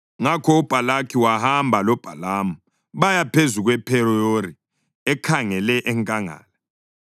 Ngakho uBhalaki wahamba loBhalamu baya phezu kwePheyori ekhangele enkangala.